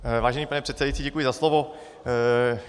Vážený pane předsedající, děkuji za slovo.